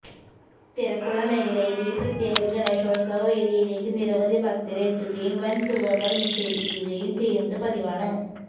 തിരക്കുള്ള മേഖലയയിലെ ഈ പ്രത്യേക ഗണേശോത്സവ വേദിയിലേക്ക് നിരവധി ഭക്തര് എത്തുകയും വന് തുകകള് നിക്ഷേപിക്കുകയും ചെയ്യുന്നത് പതിവാണ്